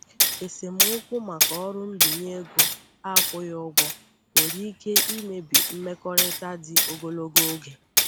Esemokwu maka ọrụ mbinye ego akwụghị ụgwọ nwere ike imebi mmekọrịta dị ogologo oge.